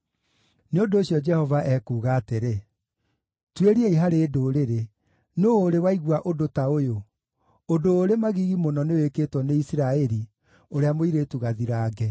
Nĩ ũndũ ũcio Jehova ekuuga atĩrĩ: “Tuĩriai harĩ ndũrĩrĩ: Nũũ ũrĩ waigua ũndũ ta ũyũ? Ũndũ ũrĩ magigi mũno nĩwĩkĩtwo nĩ Isiraeli, ũrĩa mũirĩtu gathirange!